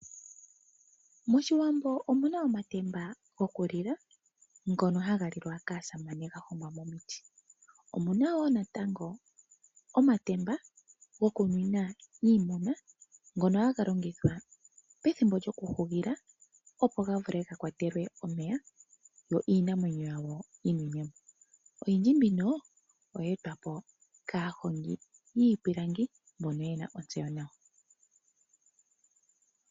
MOshiwambo omu na omatemba gokulila ngono haga lilwa kaasamane ga hongwa momiti. Omu na wo natango omatemba gokunwina iimuna, ngono haga longithwa pethimbo lyokuhugila, opo ga vule ga kwatelwe omeya, yo iinamwenyo yawo yi nwine mo. Oyindji mbino oyeetwa po kaahongi yiipilangi mbono ye na ontseyo nawa.